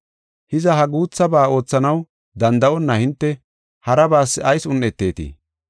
Hiza, ha guuthaba oothanaw danda7onna hinte, harabas ayis un7etetii?